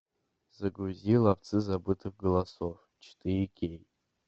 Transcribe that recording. загрузи ловцы забытых голосов четыре кей